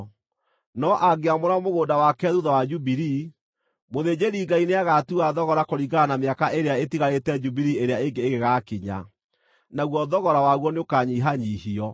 No angĩamũra mũgũnda wake thuutha wa Jubilii, mũthĩnjĩri-Ngai nĩagatua thogora kũringana na mĩaka ĩrĩa ĩtigarĩte Jubilii ĩrĩa ĩngĩ ĩgĩgaakinya, naguo thogora waguo nĩũkanyihanyiihio.